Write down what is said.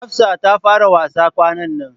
Hafsa ta fara wasa kwanan nan.